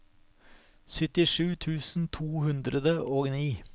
syttisju tusen to hundre og ni